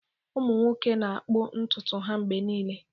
Ụmụ nwoke na-akpụ ntutu ha mgbe niile.